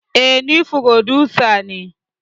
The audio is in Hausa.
Eh ni frodusa ne